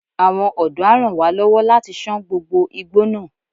Àwọn ọ̀dọ́ a ràn wá lọ́wọ́ láti ṣán gbogbo igbó náà.